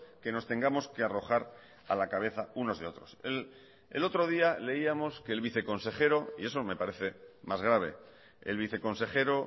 que nos tengamos que arrojar a la cabeza unos y otros el otro día leíamos que el viceconsejero y eso me parece más grave el viceconsejero